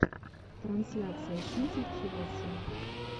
трансляция сити челси